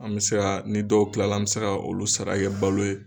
An mɛ se ka ni dɔw kilala an mɛ se ka olu sara kɛ balo ye.